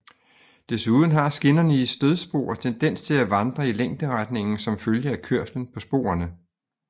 Desuden har skinnerne i stødspor tendens til at vandre i længderetningen som følge af kørslen på sporene